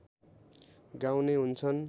गाउने हुन्छन्